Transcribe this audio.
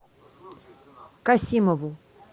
касимову